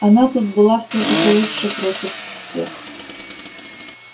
она тут была всё-таки лучше против всех